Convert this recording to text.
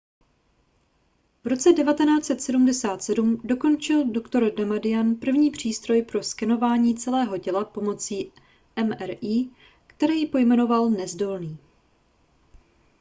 v roce 1977 dokončil dr damadian první přístroj pro skenování celého těla pomocí mri který pojmenoval nezdolný